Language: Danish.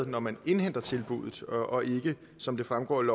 når man indhentede tilbuddet og ikke som det fremgår af